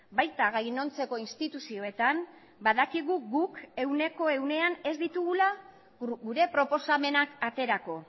baita gainontzeko instituzioetan badakigu guk ehuneko ehunean ez ditugula gure proposamenak aterako